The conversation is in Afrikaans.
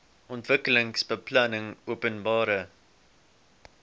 ontwikkelingsbeplanningopenbare